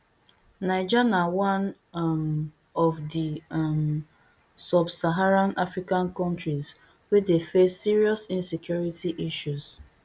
niger na one um of di um subsaharan african kontris wey dey face serious insecurity issues